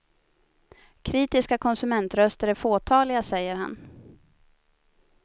Kritiska konsumentröster är fåtaliga, säger han.